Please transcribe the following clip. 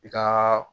I ka